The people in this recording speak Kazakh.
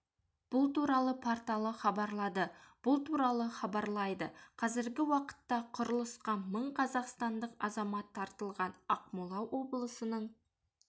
бұл туралы порталы хабарлады бұл туралы хабарлайды қазіргі уақытта құрылысқа мың қазақстандық азамат тартылған ақмола облысының